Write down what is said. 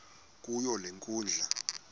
kuyo le nkundla